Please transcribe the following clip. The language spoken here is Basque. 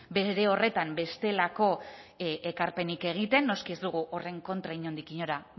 bere horretan bestelako ekarpenik egiten noski ez dugu horren kontra inondik inora